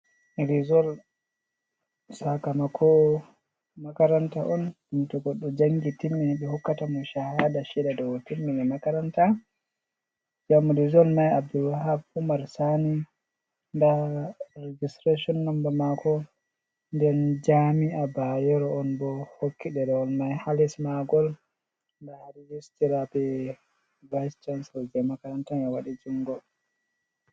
Rizol sakamako makaranta on ɗum to goɗɗo jangi timmini ɓe hokkata mo shahada sheda diu o timini makaranta, ngam rizol mai abul wahab umar sani nda registretion nomba mako, den jami a bayero on bo hokki ɗerawol mai ha lis magol, nda ha registira be vice cancelo je makaranta mai waɗi jungo.